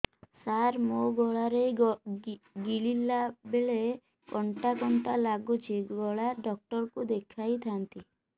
ସାର ମୋ ଗଳା ରେ ଗିଳିଲା ବେଲେ କଣ୍ଟା କଣ୍ଟା ଲାଗୁଛି ଗଳା ଡକ୍ଟର କୁ ଦେଖାଇ ଥାନ୍ତି